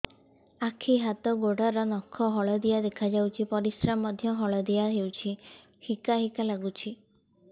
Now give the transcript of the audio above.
ଆଖି ହାତ ଗୋଡ଼ର ନଖ ହଳଦିଆ ଦେଖା ଯାଉଛି ପରିସ୍ରା ମଧ୍ୟ ହଳଦିଆ ହଉଛି ହିକା ହିକା ଲାଗୁଛି